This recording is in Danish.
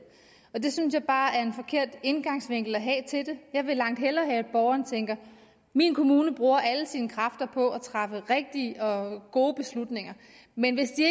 det synes jeg bare er en forkert indgangsvinkel at have til det jeg vil langt hellere have at borgeren tænker min kommune bruger alle sine kræfter på at træffe rigtige og gode beslutninger men hvis de